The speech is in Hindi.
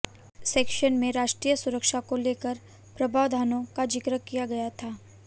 इस सेक्शन में राष्ट्रीय सुरक्षा को लेकर प्रावधानों का जिक्र किया गया था